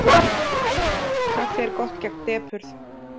Kaffi er gott gegn depurð.